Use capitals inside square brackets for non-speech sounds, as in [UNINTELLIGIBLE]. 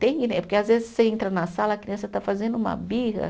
[UNINTELLIGIBLE] Porque às vezes você entra na sala, a criança está fazendo uma birra.